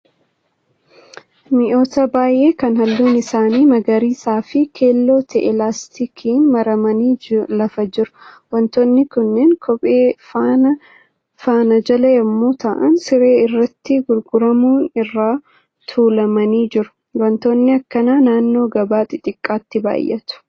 Mi'oota baay'ee kan halluun isaanii magariisaa fi keelloo ta'e laastikiin maramanii lafa jiru. Wantoonni kunneen kophee faana jalaa yemmuu ta'aan siree irratti gurguraman irra tuulamanii jiru. Wantootni akkanaa naannoo gabaa xixxiqqaatti baay'atu.